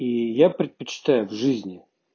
и я предпочитаю в жизни